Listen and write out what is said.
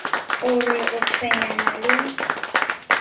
o re o tshwenyana le